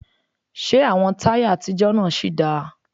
Ṣé àwọn táyà àtijọ́ náà sì dáa?